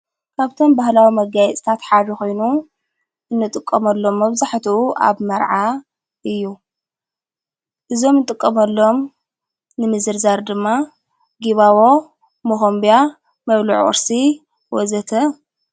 ካብቶም ባህላዊ መጋይጽታት ሓድ ኾይኑ እንጥቆመሎም ኣብዛሕቱኡ ኣብ መርዓ እዩ እዞም ንጥቀመሎም ንምዘርዛር ድማ ጊባቦ ምኾምብያ መብልዒ ወርሲ ወዘተ,,,